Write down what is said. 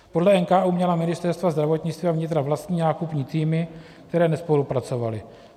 Podle NKÚ měla ministerstva zdravotnictví a vnitra vlastní nákupní týmy, které nespolupracovaly.